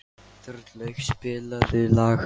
Þorlaug, spilaðu lag.